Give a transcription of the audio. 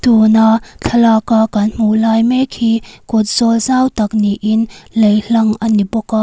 pawna thlaka kan hmuh lai mek hi kawt zawk zau tak niin lei hlang a ni bawk a.